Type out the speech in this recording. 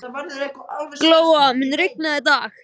Glóa, mun rigna í dag?